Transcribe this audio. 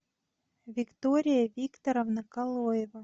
виктория викторовна калоева